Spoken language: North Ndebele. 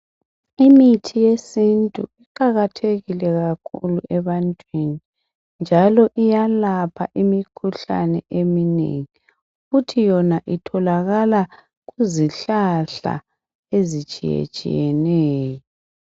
Imithi yesintu iqakathekile kakhulu ebantwini njalo iyalapha imkhuhlane eminengi kuthi yona itholakala kuzihlahla ezitshiyetshiyeneyo